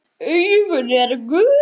Augun eru gul.